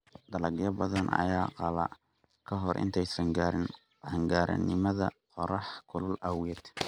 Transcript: Dalagyo badan ayaa qalla ka hor intaysan gaarin qaan-gaarnimada qorraxda kulul awgeed.